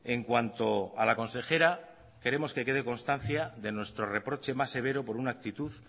en cuanto a la consejera queremos que quede constancia de nuestro reproche más severo por una actitud